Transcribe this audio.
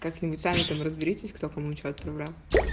как нибудь сами там разберитесь кто кому что отправлял